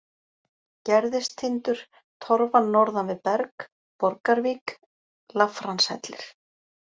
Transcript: Gerðistindur, Torfan norðan við Berg, Borgarvik, Lafranshellir